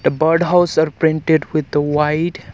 the bird house is painted with the white